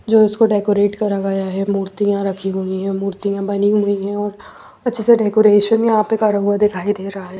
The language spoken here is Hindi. जो उसको डेकोरेट करा गया है मूर्तियां रखी हुई हैं मूर्तियां बनी हुई हैं और अच्छे से डेकोरेशन यहाँ पे करा हुआ दिखाई दे रहा है।